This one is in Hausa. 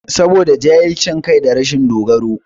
Saboda jahilcin kai da rashin dogaro